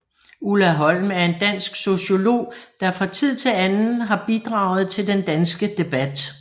Ulla Holm er en dansk sociolog der fra tid til anden har bidraget til den danske debat